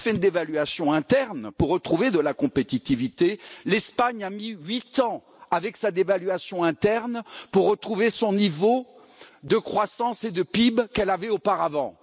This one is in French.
Si elle fait une dévaluation interne pour retrouver de la compétitivité, elle risque le sort de l'Espagne, qui a mis huit ans après sa dévaluation interne pour retrouver le niveau de croissance et de PIB qu'elle avait auparavant.